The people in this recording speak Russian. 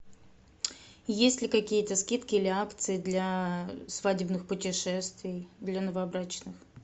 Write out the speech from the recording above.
есть ли какие то скидки или акции для свадебных путешествий для новобрачных